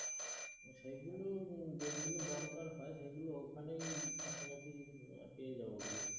সেইগুলোই, যেগুলো দরকার হয়, সেইগুলো ঐখানেই কাছাকাছি পেয়ে যাবো গিয়ে।